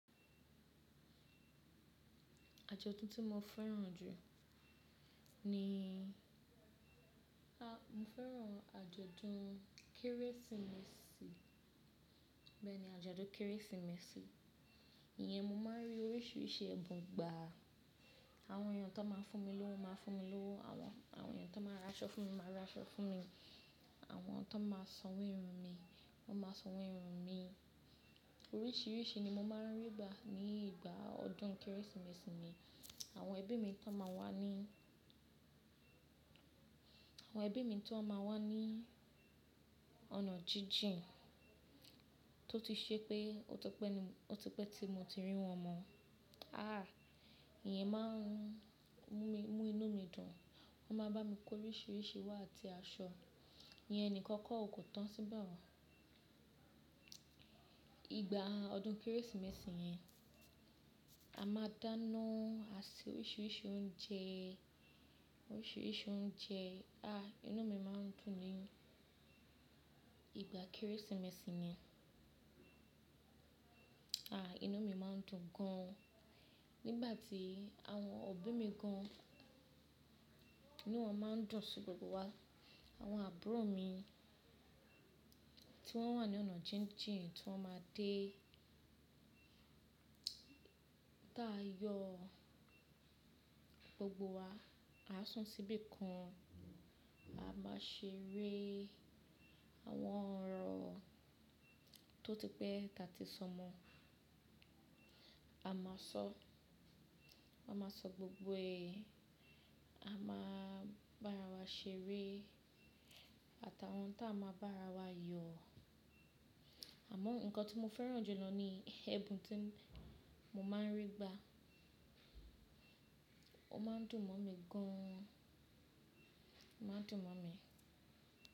Ajọdun ti mo fẹ́ràn jù ni, a, mo fẹ́ràn ajọdun Kérésìmesì. Bẹ́ẹ̀ ni, ajọdun Kérésìmesì. Iyẹn mo máa rí oríṣiríṣi ẹ̀bùn gbà. Àwọn èèyàn tó máa fún mi lówó máa fún mi lówó, àwọn, àwọn èèyàn tó máa ra aṣọ fún mi máa ra aṣọ fún mi. Àwọn tó máa sanwó irun mi, wọ́n máa sanwó irun mi. Oríṣiríṣi ni mo máa rí gbà ní ìgbà ọdún Kérésìmesì mi. Àwọn ẹbí mi tó máa wá ní, àwọn ẹbí mi tó máa wá ní ọ̀nà jíjìn tó ti ṣe pé, ó tọ pé ni, ó ti pé tí mo ti rí wọn mọ́. Ah, ìyẹn máa ń mú mi, mú inú mi dùn. Wọ́n máa bá mi kó oríṣiríṣi wá àti aṣọ. Iyẹn nìkan kọ́ kò tọ́ síbẹ̀ oo. Ìgbà ọdún Kérésìmesì yẹn, a máa dáná, a ṣe oríṣiríṣi oúnjẹ, oríṣiríṣi oúnjẹ. Ah, inú mi máa ń dùn ni ìgbà Kérésìmesì ni. Ah, inú mi máa ń dùn gan. Nígbà tí àwọn òbí mi gan ni wọ́n máa ń dọ̀ sí gbogbo wa. Àwọn àbúrò mi tí wọ́n wà ní ọ̀nà jíjìn tí wọ́n máa dé. Bí a yọ gbogbo wa, a san síbí kan. A máa ṣe eré àwọn ọ̀rọ̀ tó ti pé tí a ti sọ mọ́. A máa sọ, a máa sọ gbogbo èèè. A máa bá ara wa ṣeré àtàwọn tí a máa bá ara wa yọ. Àmọ́ nǹkan tí mo fẹ́ràn jù lọ ni ẹ̀bùn tí mo máa ń rí gbà. Ó máa ń dùn mọ́ mi gan an. Ó máa ń dùn mọ́ mi.